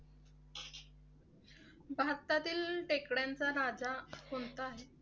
भारतातील टेकड्याचा राजा कोणता आहे?